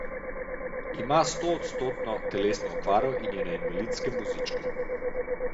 Ima stoodstotno telesno okvaro in je na invalidskem vozičku.